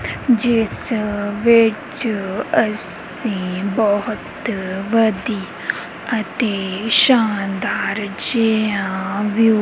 ਜਿੱਸ ਵਿੱਚ ਅੱਸੀ ਬੋਹੁਤ ਵਧੀਆ ਅਤੇ ਸ਼ਾਨਦਾਰ ਜੇਹਾ ਵਿਊ --